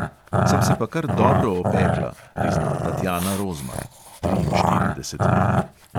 Sem se pa kar dobro opekla, prizna tatjana rozman (triinštirideset let).